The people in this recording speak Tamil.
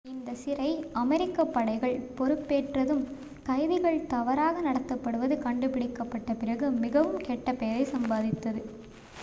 இந்தச் சிறை அமெரிக்க படைகள் பொறுப்பேற்றதும் கைதிகள் தவறாக நடத்தப்படுவது கண்டுபிடிக்கப்பட்ட பிறகு மிகவும் கெட்ட பெயரை சம்பாதித்தது